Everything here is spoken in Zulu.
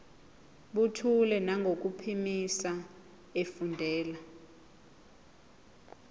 buthule nangokuphimisa efundela